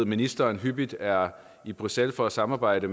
ministeren hyppigt er i bruxelles for at samarbejde